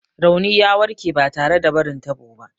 Rauni ya warke ba tare da barin tabo ba.